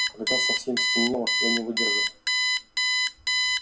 когда совсем стемнело я не выдержал